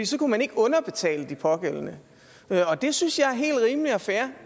så kunne man ikke underbetale de pågældende det synes jeg er helt rimeligt og fair